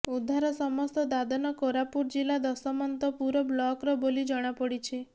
ଉଦ୍ଧାର ସମସ୍ତ ଦାଦନ କୋରାପୁଟ ଜିଲ୍ଲା ଦଶମନ୍ତପୁର ବ୍ଲକର ବୋଲି ଜଣାପଡିଛି